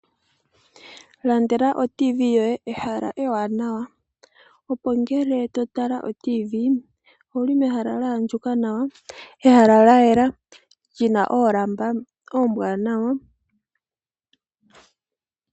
Ilandela oTV yoye pehala ewanawa opo ngele totala oTV owuli mehala lya andjuka nawa . Ehala lyayela lina oolamba oombwanawa